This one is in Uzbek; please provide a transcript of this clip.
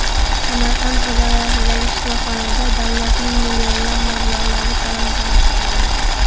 Samarqand viloyatidagi shifoxonada davlatning millionlab mablag‘lari talon-toroj qilindi.